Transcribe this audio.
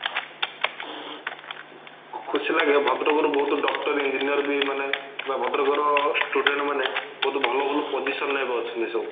ଖୁସି ଲାଗିଲା ଭଦ୍ରକ ରୁ ବୋହୁତ doctor engineer ବି ମାନେ ଭଦ୍ରକ ର student ମାନେ ବୋହୁତ ଭଲ ଭଲ position ରେ ଏବେ ଅଛନ୍ତି ସବୁ